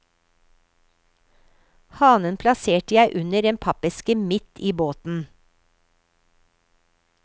Hanen plasserte jeg under en pappeske midt i båten.